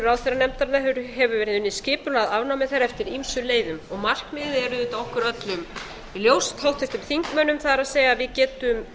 ráðherranefndarinnar hefur verið unnið skipulega að afnámi þeirra eftir ýmsum leiðum markmiðið er auðvitað okkur öllum ljóst háttvirtum þingmönnum það er við getum